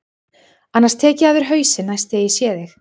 Annars tek ég af þér hausinn næst þegar ég sé þig.